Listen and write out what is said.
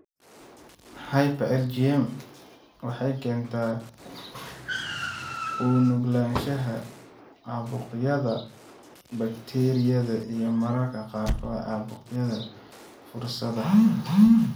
Hyper IgM waxay keentaa u nuglaanshaha caabuqyada bakteeriyada iyo mararka qaarkood caabuqyada fursada ah.